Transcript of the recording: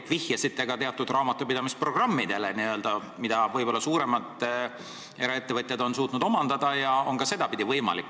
Te vihjasite ka teatud raamatupidamisprogrammidele, mida võib-olla suuremad eraettevõtjad on suutnud omandada, ja see on ka sedapidi võimalik.